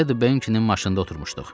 Ed Benin maşında oturmuşduq.